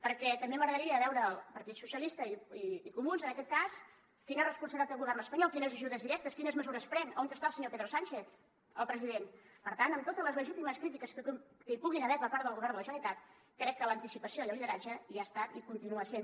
perquè també m’agradaria veure el partit socialista i comuns en aquest cas quina responsabilitat té el govern espanyol quines ajudes directes quines mesures pren on està el senyor pedro sánchez el president per tant amb totes les legítimes crítiques que hi puguin haver per part del govern de la generalitat crec que l’anticipació i el lideratge hi ha estat i hi continua sent